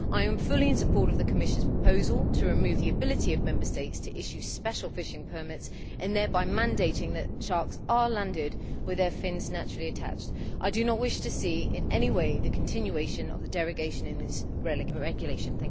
I am fully in support of the Commission's proposal to remove the ability of Member States to issue special fishing permits, thereby mandating that sharks are landed with their fins naturally attached. I do not wish to see in any way a continuation of the derogation in this regulation.